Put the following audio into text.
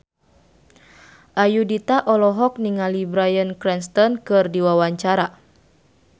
Ayudhita olohok ningali Bryan Cranston keur diwawancara